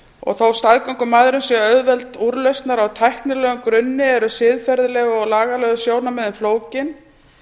og þó staðgöngumæðrun sé auðveld úrlausnar á tæknilegum grunni eru siðferðileg og lagalegu sjónarmiðin flókin